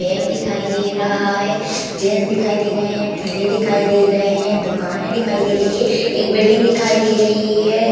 Bag दिखाई दे रहा है जेंट्स दिखाई दे रहे हैं ठेले दिखाई दे रहे हैं दुकानें दिखाई दे रही है एक बिल्डिंग दिखाई दे रही है।